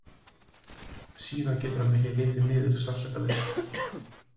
Síðan getur hann ekki litið niður sársaukalaust.